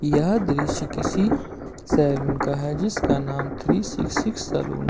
यह दृश्य किसी सैलून का है जिसका नाम थ्री सिक्सी सलून --